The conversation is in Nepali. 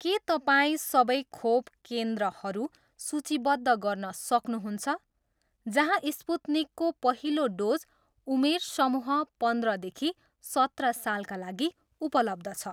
के तपाईँ सबै खोप केन्द्रहरू सूचीबद्ध गर्न सक्नुहुन्छ जहाँ स्पुत्निकको पहिलो डोज उमेर समूह पन्ध्र देखि सत्र सालका लागि उपलब्ध छ?